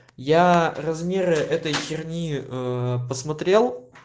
я размеры этой херни ээ посмотрел